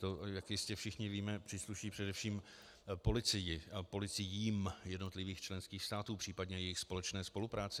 To, jak jistě všichni víme, přísluší především policii a policiím jednotlivých členských států, případně jejich společné spolupráce.